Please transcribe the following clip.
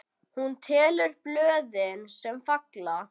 Hún telur blöðin, sem falla.